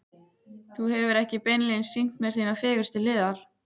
Þú hefur ekki beinlínis sýnt mér þínar fegurstu hliðar.